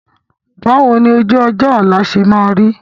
Báwo ni ojú-ọjọ́ ọ̀la ṣe máa rí?